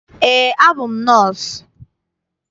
Eé, abụ m nọọsụ.